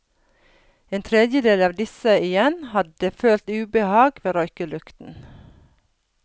En tredjedel av disse igjen hadde følt ubehag ved røyklukten.